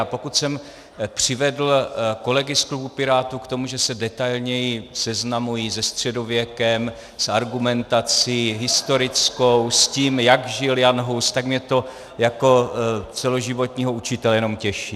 A pokud jsem přivedl kolegy z klubu Pirátů k tomu, že se detailněji seznamují se středověkem, s argumentací historickou, s tím, jak žil Jan Hus, tak mě to jako celoživotního učitele jenom těší.